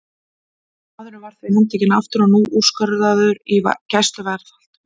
Maðurinn var því handtekinn aftur og nú úrskurðaður í gæsluvarðhald.